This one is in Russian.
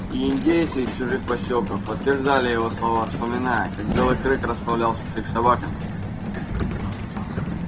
и индейцы из чужих посёлков подтверждали его слова вспоминая как белый клык расправлялся с их собаками